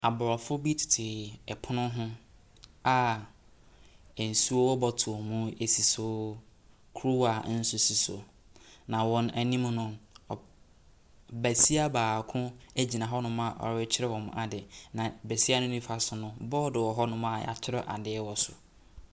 Aborɔfo tete pono ho a nsuo wɔ bottle sisi so, kuruwa nso si so. Na wɔn anima no, besia baako gyina hɔɔ a ɔrekyerɛ wɔn adeɛ. Na besia no nimfa so no bɔɔdo wɔ hɔ a yɛakyerɛw ade wɔ so.